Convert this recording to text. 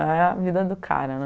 É a vida do cara, né?